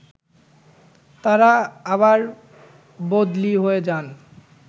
তারা আবার বদলি হয়ে যান